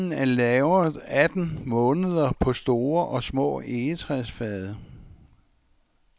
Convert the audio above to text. Vinen er lagret atten måneder på store og små egetræsfade.